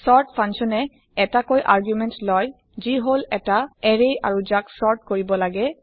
sort function এ ১টা key argument লয় যি হল এটা এৰে আৰু যাক চৰ্ত কৰিব লাগে